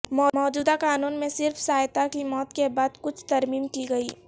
موجودہ قانون میں صرف سایتا کی موت کے بعد کچھ ترمیم کی گئی